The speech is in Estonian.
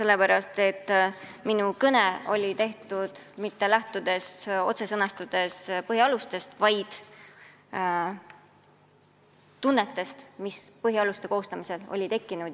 Ja minu kõne oli tehtud mitte lähtudes otsesest põhialuste sõnastusest, vaid tunnetest, mis põhialuste koostamisel olid tekkinud.